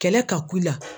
Kɛlɛ ka ku i la